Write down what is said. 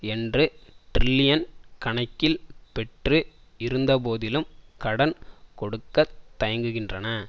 என்று டிரில்லியன் கணக்கில் பெற்று இருந்தபோதிலும் கடன் கொடுக்க தயங்குகின்றன